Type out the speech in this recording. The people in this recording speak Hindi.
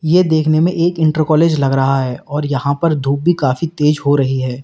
यह देखने में एक इंटर कॉलेज लग रहा है और यहां पर धूप भी काफी तेज हो रही है।